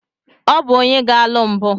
Ọ bụ onye ga-alụ mbụ.